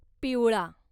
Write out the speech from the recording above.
पिवळा